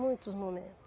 Muitos momentos.